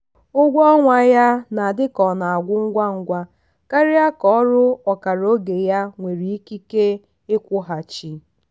ụgwọ ọnwa ya na-adị ka ọ na-agwụ ngwa ngwa karịa ka ọrụ ọkara oge ya nwere ikike ịkwụghachi.